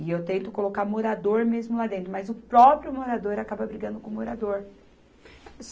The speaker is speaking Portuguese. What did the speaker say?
E eu tento colocar morador mesmo lá dentro, mas o próprio morador acaba brigando com o morador.